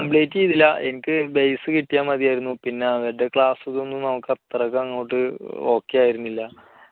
complete ചെയ്തില്ല എനിക്ക് base കിട്ടിയാൽ മതിയായിരുന്നു. പിന്നെ അവരുടെ class കൾ ഒന്നും നമുക്ക് അത്രയ്ക്ക് അങ്ങോട്ട് okay ആയിരുന്നില്ല.